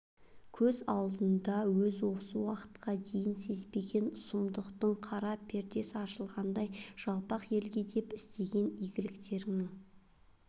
көз алдында өз осы уақытқа дейін сезбеген сұмдықтың қара пердес ашылғандай жалпақ елге деп істеген игіліктерінің